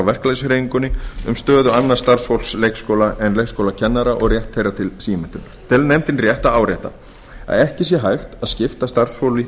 verkalýðshreyfingunni um stöðu annars starfsfólks leikskóla en leikskólakennara og rétt þeirra til símenntunar telur nefndin rétt að árétta að ekki sé hægt að skipta starfsfólki